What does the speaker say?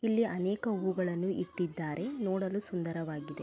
ಇಲ್ಲಿ ಅನೇಕ ಹೂವುಗಳನ್ನು ಇಟ್ಟಿದ್ದಾರೆ ನೋಡಲು ಸುಂದರವಾಗಿದೆ.